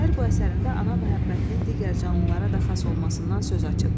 Şair bu əsərində ana məhəbbətinin digər canlılara da xas olmasından söz açıb.